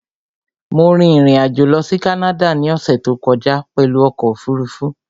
Mo rin ìrìn-àjò lọ sí Canada ní ọ̀ṣẹ̀ tó kọjá pẹ̀lú ọkọ̀ òfurufú